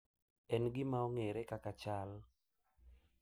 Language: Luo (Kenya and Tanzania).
En gima ong’ere kaka chal